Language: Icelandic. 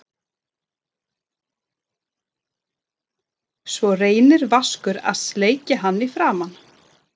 Svo reynir Vaskur að sleikja hann í framan.